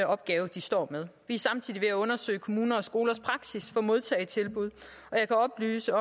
opgave de står med vi er samtidig ved at undersøge kommuner og skolers praksis for modtagetilbud og jeg kan oplyse